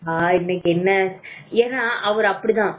ஏன்னா அவர் அப்படித்தான்